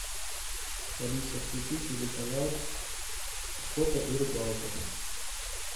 алиса включи телеканал охота и рыбалка